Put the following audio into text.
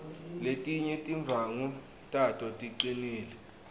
letinye tindwvangu tato ticinile